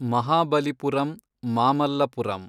Mahabalipuram, Mamallapuram